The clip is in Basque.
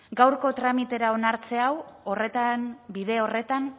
gaurko tramitera onartze hau bide horretan